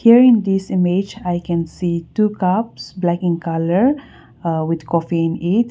hear in this image i can see two cups black in color with coffee in it.